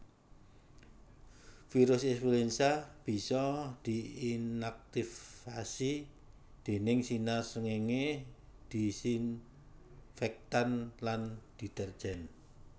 Virus influenza bisa diinaktivasi déning sinar srengéngé disinfektan lan deterjen